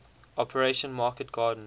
operation market garden